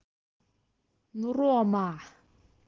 ну рома